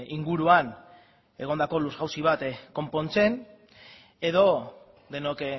inguruan egondako lur jauzi bat konpontzen edo denok